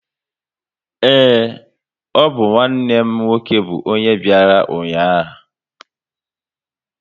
Ee, ọ bụ nwanne m nwoke bụ ọnye bịara ụnyaahụ